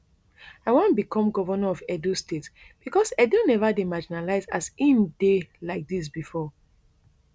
i wan become govnor of edo state becos edo never dey marginalised as im dey like dis bifor